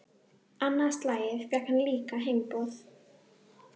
Annað slagið fékk hann líka heimboð.